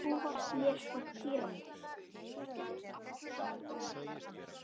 Bara alls konar!